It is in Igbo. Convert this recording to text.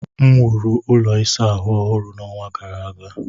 M wuru ụlọ ịsa ahụ ọhụrụ n'ọnwa gara aga.